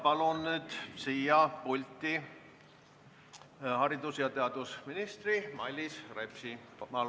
Palun nüüd pulti haridus- ja teadusminister Mailis Repsi!